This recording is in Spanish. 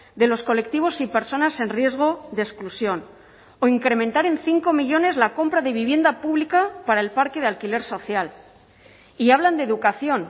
de los colectivos y personas en riesgo de exclusión o incrementar en cinco millónes la compra de vivienda pública para el parque de alquiler social y hablan de educación